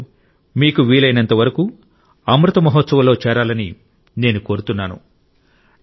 మీరందరూ మీకు వీలైనంతవరకు అమృత్ మహోత్సవ్లో చేరాలని నేను కోరుతున్నాను